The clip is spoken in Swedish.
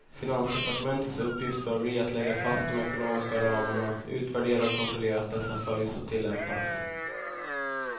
Finansdepartementets uppgift bör bli att lägga fast de ekonomiska ramarna, utvärdera och kontrollera att dessa följs och tillämpas.